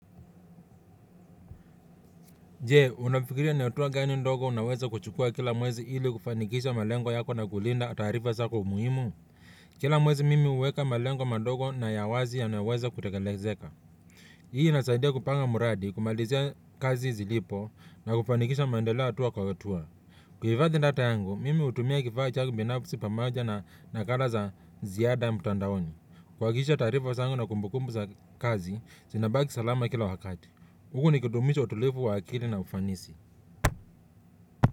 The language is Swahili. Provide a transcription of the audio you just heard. Je, unafikiria ni hatua gani ndogo unaweza kuchukua kila mwezi ili kufanikisha malengo yako na kulinda taarifa zako muhimu? Kila mwezi mimi huweka malengo madogo na ya wazi yanayoweza kutekelezeka. Hii inasaidia kupanga mradi, kumalizia kazi zilipo na kufanikisha maendeleo hatua kwa hatua. Kuhifadhi data yangu, mimi hutumia kifaa changu binafsi pamoja na nakala za ziada mtandaoni. Kuhakikisha taarifa zangu na kumbukumbu za kazi, zinabaki salama kila wakati. Huku nikidumisha utulivu wa akili na ufanisi.